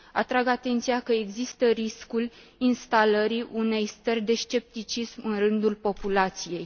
Atrag atenția că există riscul instalării unei stări de scepticism în rândul populației.